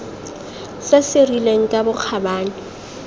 se se rileng ka bokgabane